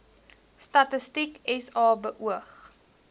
statistiek sa beoog